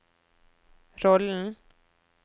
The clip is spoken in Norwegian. rollen